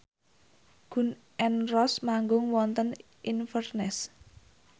Gun n Roses manggung wonten Inverness